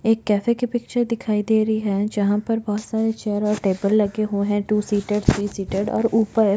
एक कैफ़े की पिक्चर दिखाई दे रही है जहां पर बहुत सारे चेयर और टेबल लगे हुए है टू सीटेड थ्री सीटेड और उपर--